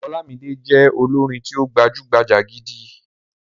Ọlámídé jẹ́ olórin tí ó gbajúgbajà gidi.